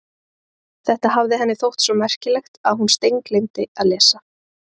Þetta hafði henni þótt svo merkilegt að hún steingleymdi að lesa.